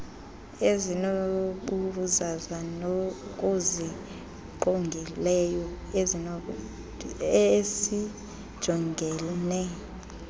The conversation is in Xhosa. ezinobuzaza zokusingqongileyo esijongene